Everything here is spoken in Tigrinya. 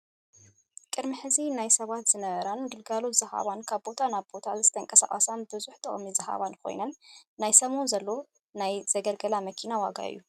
ቅዲሚ ሕዚ ናይ ሰባት ዝነበራን ግልጋሎት ዝሃበን ካብ ቦታ ናብ ቦታ ዝተቀሳቀሳን ብዙሕ ጥቅሚ ዝሃባን ኮይነን ናይ ሰሙን ዘሎ ናይ ዘገልገላ መኪና ዋጋ እዩ።